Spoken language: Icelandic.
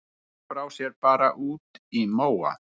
Fólk brá sér bara út í móa.